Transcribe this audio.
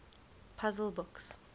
puzzle books